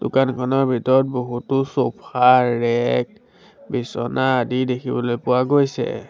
দোকানখনৰ ভিতৰত বহুতো ছ'ফা ৰেক বিছনা আদি দেখিবলৈ পোৱা গৈছে।